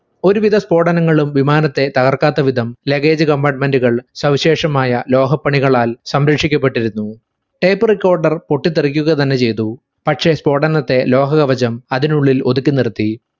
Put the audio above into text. ഒരു വിധ സ്ഫോടനങ്ങളും വിമാനത്തെ തകർക്കാത്ത വിധം luggage compartment കൾ സവിശേഷമായ ലോഹപ്പണികളായ സംരക്ഷിക്കപ്പെട്ടിരുന്നു tape recorder പൊട്ടിത്തെറിക്കുക തന്നെ ചെയ്തു. പക്ഷെ സ്ഫോടനത്തെ ലോഹകവചം അതിനുള്ളിൽ ഒതുക്കി നിറുത്തി.